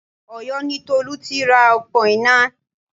Ọ̀yó ni Tolú tira òpó iná